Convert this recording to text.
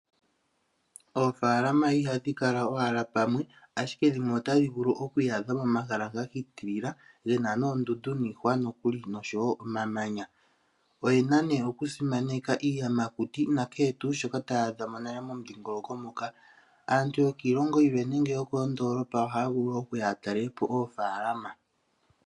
Oofaalama ihadhi kala owala pamwe, ashike dhimwe otadhi vulu oku iyadha momahala ga hitilila gena noondundu niihwa nokuli noshowo omamanya. Oyena nee okusimaneka iiyamakuti nakehe tuu shoka taya adha mo nale momudhingoloko moka. Aantu yokiilongo yilwe nenge yokondoolopa ohaya vulu woo okuya ya talele po oofaalama.